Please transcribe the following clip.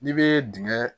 N'i bɛ dingɛ